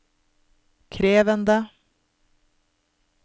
krevende